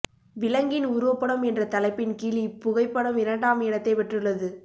விலங்கின் உருவப்படம் என்ற தலைப்பின் கீழ் இப்புகைப்படம் இரண்டாம் இடத்தைப் பெற்றுள்ளது